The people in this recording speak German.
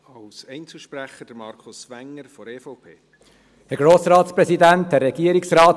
Als Einzelsprecher, Markus Wenger von der EVP.